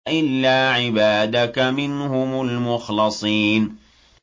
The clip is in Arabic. إِلَّا عِبَادَكَ مِنْهُمُ الْمُخْلَصِينَ